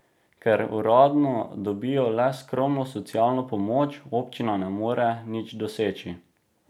Ker uradno dobijo le skromno socialno pomoč, občina ne more nič doseči.